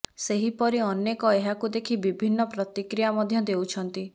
ସେହିପରି ଅନେକ ଏହାକୁ ଦେଖି ବିଭିନ୍ନ ପ୍ରତିକ୍ରିୟା ମଧ୍ୟ ଦେଉଛନ୍ତି